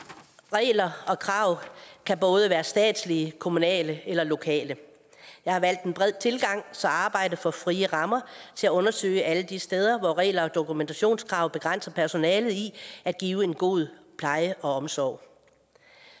regler og krav kan både være statslige kommunale eller lokale jeg har valgt en bred tilgang så arbejdet får frie rammer til at undersøge alle de steder hvor regler og dokumentationskrav begrænser personalet i at give en god pleje og omsorg